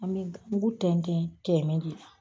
An bɛ da mugu tɛntɛn tɛɛmɛ de la.